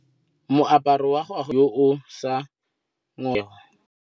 Moaparô wa gagwe ke wa mosadi yo o sa ngôkeng kgatlhegô.